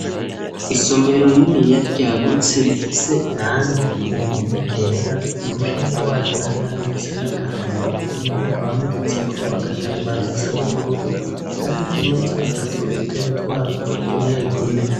Isomero rininiya ryagutse rifise irangi ku mpome ryera ku mushinge wayo hari irangi risa n'agahama ku ruhome hakaba hamaditse ko agatambara gasa n'ubururu hariyo utumeza dutatu nu dutebe twatwo tunetune.